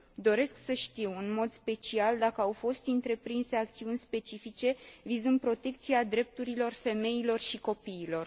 Doresc să știu, în mod special, dacă au fost întreprinse acțiuni specifice vizând protecția drepturilor femeilor și copiilor.